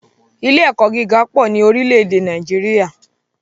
Ilé - ẹ̀kọ́ gíga pọ̀ ní orílè èdè Nàìjíríà